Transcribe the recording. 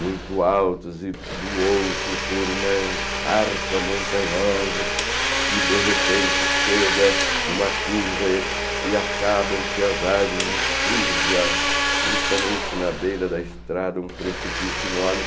muito altos e do outro por uma escarpa montanhosa e de repente chega em uma curva e acabam-se as árvores e surge a justamente na beira da estrada um precipício enorme.